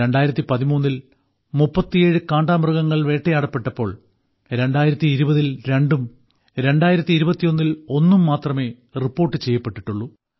2013ൽ 37 കാണ്ടാമൃഗങ്ങൾ വേട്ടയാടപ്പെട്ടപ്പോൾ 2020ൽ 2 ഉം 2021ൽ 1 ഉം മാത്രമേ റിപ്പോർട്ട് ചെയ്യപ്പെട്ടിട്ടുള്ളൂ